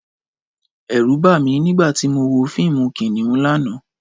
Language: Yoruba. Ẹ̀rù bà mí nígbà tí mo wo fíìmù Kìnìún lánàá